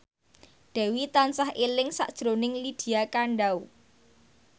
Dewi tansah eling sakjroning Lydia Kandou